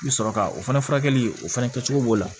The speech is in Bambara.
I bɛ sɔrɔ ka o fana furakɛli o fana kɛ cogo b'o la